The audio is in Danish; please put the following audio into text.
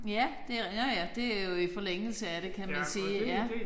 Ja det nåh ja det jo i forlængelse af det kan man sige ja